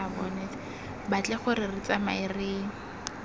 batle gore re tsamae re